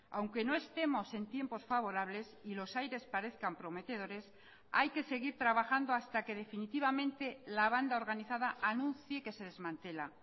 aunque no estemos en tiempos favorables y los aires parezcan prometedores hay que seguir trabajando hasta que definitivamente la banda organizada anuncie que se desmantela